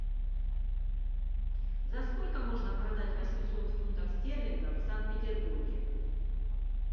за сколько можно продать восемьсот фунтов стерлингов в санкт петербурге